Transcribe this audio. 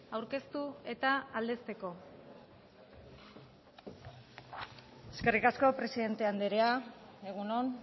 aurkeztu eta aldezteko eskerrik asko presidente andrea egun on